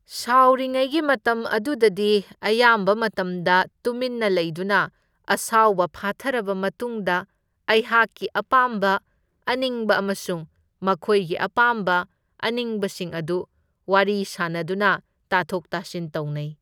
ꯁꯥꯎꯔꯤꯉꯩꯒꯤ ꯃꯇꯝ ꯑꯗꯨꯗꯗꯤ ꯑꯌꯥꯝꯕ ꯃꯇꯝꯗ ꯇꯨꯃꯤꯟꯅ ꯂꯩꯗꯨꯅ ꯑꯁꯥꯎꯕ ꯐꯥꯊꯔꯕ ꯃꯇꯨꯡꯗ ꯑꯩꯍꯥꯛꯀꯤ ꯑꯄꯥꯝꯕ ꯑꯅꯤꯡꯕ ꯑꯃꯁꯨꯡ ꯃꯈꯣꯏꯒꯤ ꯑꯄꯥꯝꯕ ꯑꯅꯤꯡꯕꯁꯤꯡ ꯑꯗꯨ ꯋꯥꯔꯤ ꯁꯥꯟꯅꯗꯨꯅ ꯇꯥꯊꯣꯛ ꯇꯥꯁꯤꯟ ꯇꯧꯅꯩ꯫